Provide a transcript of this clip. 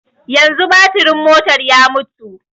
Yanzu baturin motar ya mutu